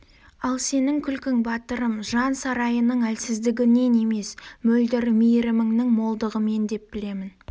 ал сенің күлкің батырым жан сарайыңның әлсіздігінен емес мөлдір мейіріміңнің молдығынан деп білемін